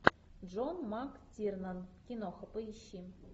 джон мактирнан киноха поищи